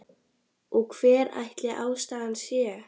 Og hver ætli ástæðan sé?